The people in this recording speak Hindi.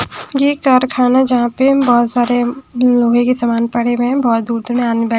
यह कारखाना जहां पर बहुत सारे लोहे के सामान पड़े हुए है बहुत दूर दूर में बै--